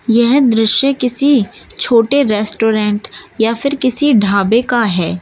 यह दृश्य किसी छोटे रेस्टोरेंट या फिर किसी ढाबे का है।